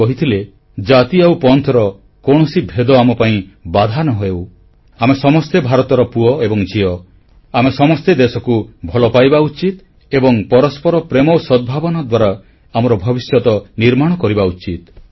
ସେ କହିଥିଲେ ଜାତି ଆଉ ପନ୍ଥ ର କୌଣସି ଭେଦଭାବ ଆମପାଇଁ ବାଧା ନ ହେଉ ଆମେ ସମସ୍ତେ ଭାରତର ପୁଅ ଏବଂ ଝିଅ ଆମେ ସମସ୍ତେ ଦେଶକୁ ଭଲ ପାଇବା ଉଚିତ ଏବଂ ପରସ୍ପର ପ୍ରେମ ଓ ସଦ୍ଭାବନା ଦ୍ୱାରା ଆମର ଭବିଷ୍ୟତ ନିର୍ମାଣ କରିବା ଉଚିତ